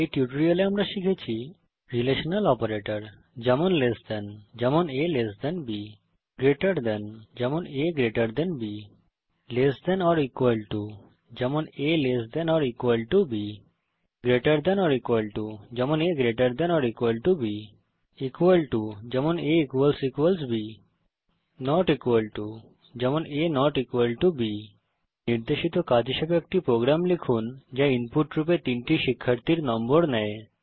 এই টিউটোরিয়ালেআমরা শিখেছি রিলেশনাল অপারেটরস যেমন লেস দেন160 যেমন a LT b greater than যেমন a GT b less than or equal to যেমন a lt b greater than or equal to যেমন a gt b equal to যেমন a b not equal to যেমন a160 b নির্দেশিত কাজ হিসাবে একটি program লিখুন যা ইনপুট রূপে তিনটি শিক্ষার্থীর নম্বর নেয়